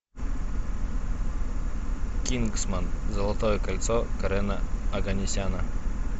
кингсман золотое кольцо карена оганесяна